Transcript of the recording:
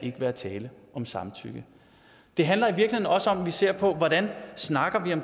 være tale om samtykke det handler i virkeligheden også om at vi ser på hvordan